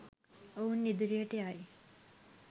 ඔවුන් ඉදිරියට යයි